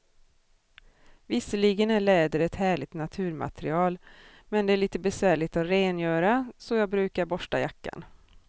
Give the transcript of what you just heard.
Visserligen är läder ett härligt naturmaterial, men det är lite besvärligt att rengöra, så jag brukar borsta jackan.